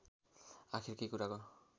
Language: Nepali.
आखिर के कुराको